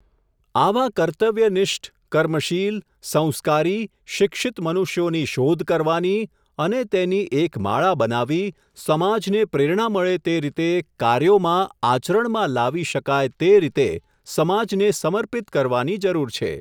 આવા કર્તવ્યનિષ્ઠ, કર્મશીલ, સંસ્કારી, શિક્ષિત મનુષ્યોની શોધ કરવાની, અને તેની એક માળા બનાવી, સમાજને પ્રેરણા મળે તે રીતે તે કાર્યોમાં, આચરણમાં લાવી શકાય તે રીતે, સમાજને સર્મિપત કરવાની જરૂર છે.